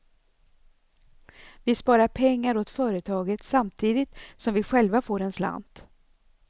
Vi sparar pengar åt företaget samtidigt som vi själva får en slant.